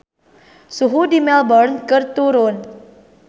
Suhu di Melbourne keur turun